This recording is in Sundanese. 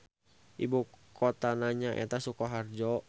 Ibukotana nyaeta Sukoharjo.